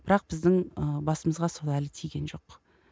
бірақ біздің ы басымызға сол әлі тиген жоқ